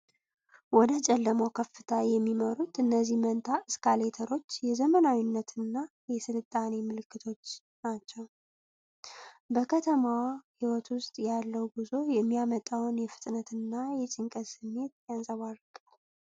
ወደ ጨለማው ከፍታ የሚመሩት እነዚህ መንታ እስካሌተሮች የዘመናዊነትና የስልጣኔ ምልክቶች ናቸው። በከተማዋ ሕይወት ውስጥ ያለው ጉዞ የሚያመጣው የፍጥነትና የጭንቀት ስሜት ይንፀባረቃል።